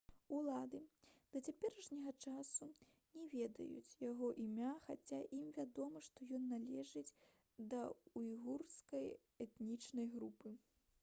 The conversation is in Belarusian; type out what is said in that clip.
улады да цяперашняга часу не ведаюць яго імя хаця ім вядома што ён належыць да ўйгурскай этнічнай групы